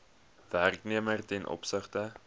werknemer ten opsigte